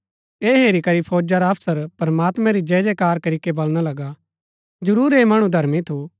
ऐह हेरी करी फौजा रा अफसर प्रमात्मां री जयजयकार करीके बलणा लगा जरूर ऐह मणु धर्मी थू